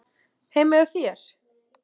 Heima hjá þér?